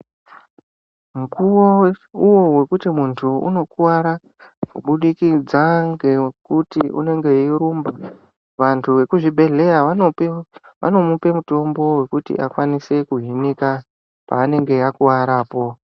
Mukuwo uwo wokuti muntu unokuwara kubudikidza ngekuti muntu unenge weirumba vantu vekuzvibhedhleya vanomupe mutombo wekuti akwanise kuhinika paanenge akuwarapo.